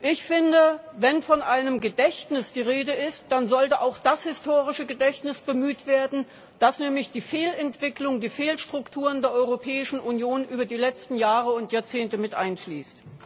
Ich finde, wenn von einem Gedächtnis die Rede ist, dann sollte auch das historische Gedächtnis bemüht werden, das nämlich die Fehlentwicklung, die Fehlstrukturen der Europäischen Union über die letzten Jahre und Jahrzehnte mit einschließt.